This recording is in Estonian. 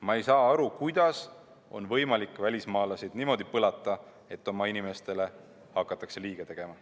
Ma ei saa aru, kuidas on võimalik välismaalasi niimoodi põlata, et seetõttu oma inimestele hakatakse liiga tegema.